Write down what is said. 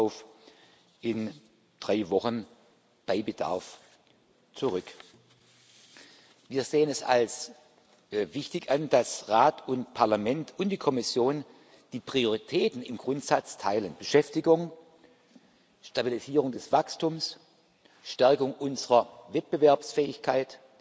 Wir kommen darauf in drei Wochen bei Bedarf zurück. Wir sehen es als wichtig an, dass Rat und Parlament und die Kommission die Prioritäten im Grundsatz teilen Beschäftigung, Stabilisierung des Wachstums, Stärkung unserer Wettbewerbsfähigkeit,